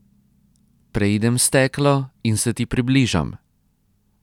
Preidem steklo in se ti približam.